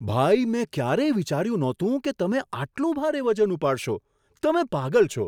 ભાઈ! મેં ક્યારેય વિચાર્યું નહોતું કે તમે આટલું ભારે વજન ઉપાડશો, તમે પાગલ છો! !